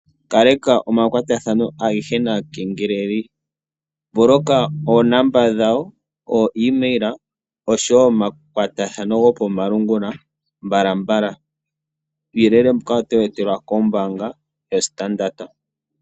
Kaleka omakwatathano agehe naakengeleli, pata oonomola dhawo, oshowo omakwatathano gawo gokomalungula mbalambala, uuyelele mbuka otowu etelwa kombaanga yoStandard.